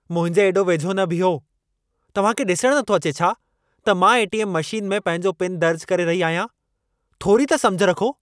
मुंहिंजे एॾो वेझो न बीहो! तव्हां खे ॾिसणु नथो अचे छा त मां ए.टी.एम. मशीन में पंहिंजो पिन दर्जु करे रही आहियां? थोरी त समुझ रखो।